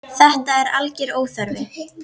Þetta er algjör óþarfi.